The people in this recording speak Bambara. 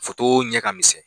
ɲɛ ka misɛn.